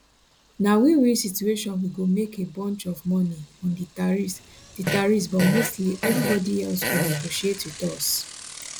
na winwin situation we go make a bunch of money on di tariffs di tariffs but mostly evribody else go negotiate wit us